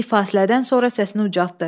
Kiçik fasilədən sonra səsini ucaltdı.